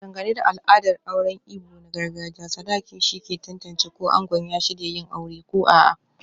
Dangane da al'adar auren Igbo na gargajiya, sadakin shine ke tantance ko ango ya shirya yin aure ko a'a.